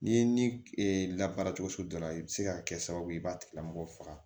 N'i ye ni la baara cogo so dɔ la i bɛ se ka kɛ sababu ye i b'a tigi lamɔgɔ faga